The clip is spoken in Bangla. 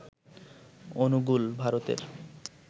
অনুগুল, ভারতের